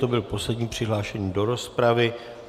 To byl poslední přihlášený do rozpravy.